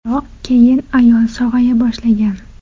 Biroq keyin ayol sog‘aya boshlagan.